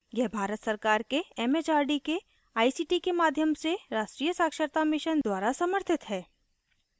यह भारत सरकार के एमएचआरडी के आईसीटी के माध्यम से राष्ट्रीय साक्षरता mission द्वारा समर्थित है